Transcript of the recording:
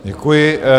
Děkuji.